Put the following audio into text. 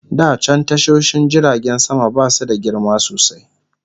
Da can tashoshin jiragen sama basu da girma sosai